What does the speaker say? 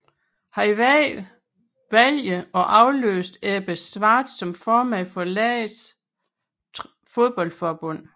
Han vandt valget og afløste Ebbe Schwartz som formand for landets fodboldforbund